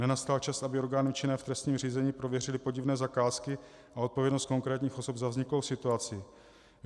Nenastal čas, aby orgány činné v trestním řízení prověřily podivné zakázky a odpovědnost konkrétních osob za vzniklou situaci?